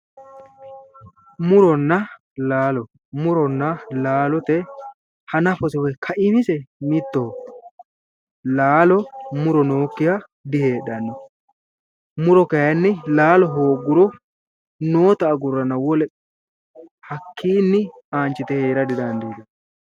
muronna laalo muronna laalote hanafo woyi kaimise mittoho laalo muro nookkiha diheedhanno muro kayinni laalo hoogguro noota agurranna hakkinni aanchite heera didandiitanno.